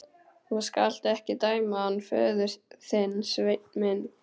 Þú skalt ekki dæma hann föður þinn, Sveinn minn.